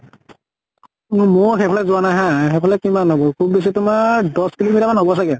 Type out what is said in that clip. ম ময়ো সেইফালে যোৱা নাই হা, সেইফালে কিমান হব? খুব বেছি তোমাৰ দশ kilo meter মান হব চাগে।